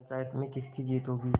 पंचायत में किसकी जीत होगी